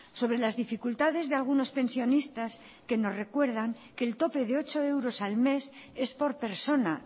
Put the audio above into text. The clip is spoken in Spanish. sobre las dificultades de algunos pensionistas que nos recuerdan que el tope de ocho euros al mes es por persona